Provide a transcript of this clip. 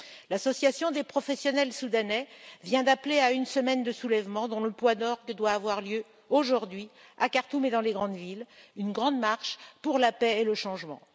L'Association des professionnels soudanais vient d'appeler à une semaine de soulèvements, dont le point d'orgue doit avoir lieu aujourd'hui, à Khartoum et dans les grandes villes une grande marche pour la paix et le changement.